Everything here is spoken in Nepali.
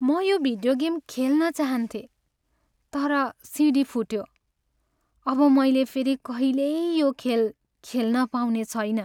म यो भिडियो गेम खेल्न चाहन्थेँ तर सिडी फुट्यो। अब मैले फेरि कहिल्यै यो खेल खेल्न पाउने छैन।